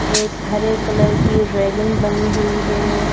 एक हरे कलर की रेलिंग बनी हुई है।